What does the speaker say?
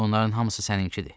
Onların hamısı səninkidir.